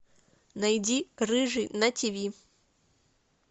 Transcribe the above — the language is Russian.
найди рыжий на ти ви